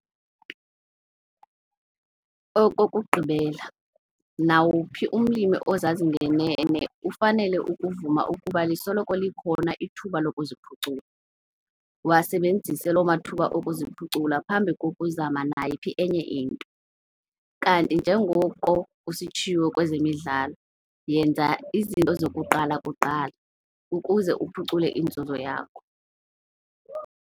Okokugqibela, nawuphi umlimi ozazi ngenene ufanele ukuvuma ukuba lisoloko likhona ithuba lokuziphucula. Wasebenzise loo mathuba okuziphucula phambi kokuzama nayiphi enye into. Kanti njengoko kusitshiwo kwezemidlalo 'yenza izinto zakuqala kuqala' ukuze uphucule inzuzo yakho.